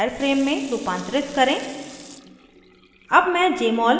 * display को wireframe में रूपांतरित करें